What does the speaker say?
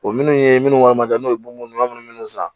O minnu ye minnu ka maje n'o ye munumunu san